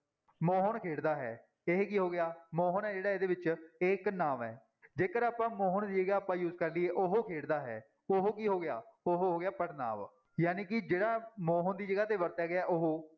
ਮੋਹਨ ਖੇਡਦਾ ਹੈ ਇਹ ਕੀ ਹੋ ਗਿਆ ਮੋਹਨ ਹੈ ਜਿਹੜਾ ਇਹਦੇ ਵਿੱਚ ਇਹ ਇੱਕ ਨਾਂਵ ਹੈ, ਜੇਕਰ ਆਪਾਂ ਮੋਹਨ ਦੀ ਜਗ੍ਹਾ ਆਪਾਂ use ਕਰ ਲਈਏ ਉਹ ਖੇਡਦਾ ਹੈ, ਉਹ ਕੀ ਹੋ ਗਿਆ, ਉਹ ਹੋ ਗਿਆ ਪੜ੍ਹਨਾਂਵ ਜਾਣੀ ਕਿ ਜਿਹੜਾ ਮੋਹਨ ਦੀ ਜਗ੍ਹਾ ਤੇ ਵਰਤਿਆ ਗਿਆ ਉਹ